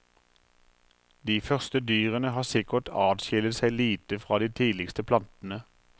De første dyrene har sikkert atskillet seg lite fra de tidligste plantene.